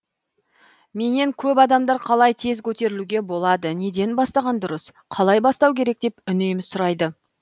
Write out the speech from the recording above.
менен көп адамдар қалай тез көтерілуге болады неден бастаған дұрыс қалай бастау керек деп үнемі сұрайды